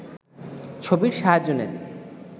ছবির সাহায্য নেন